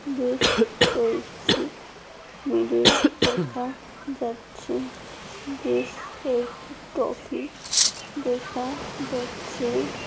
বেশ কেউছু ভিডিও দেখা যাচ্ছে বেশ কয়েকটি টফি দেখা যাচ্ছে।